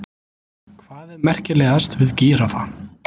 Hvað er merkilegast við gíraffa?